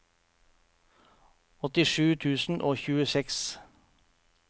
åttisju tusen og tjueseks